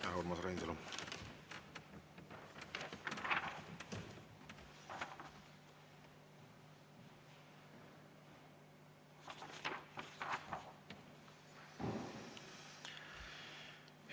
Aitäh, Urmas Reinsalu!